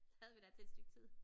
Så havde vi da til et stykke tid